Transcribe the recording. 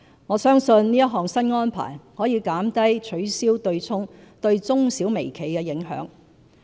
我相信這項新安排可減低取消對沖對中小微企的影響。